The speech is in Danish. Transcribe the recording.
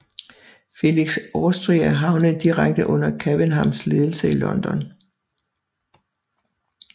Felix Austria havnede direkte under Cavenhams ledelse i London